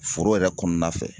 Foro yɛrɛ kɔɔna fɛ